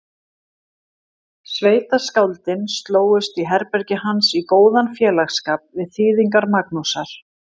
Sveitaskáldin slógust í herbergi hans í góðan félagsskap við þýðingar Magnúsar